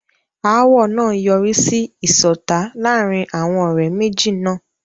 Ááwọ̀ náà yọrí sí ìṣọ̀tá láàárín àwọn ọ̀rẹ́ méjì náà.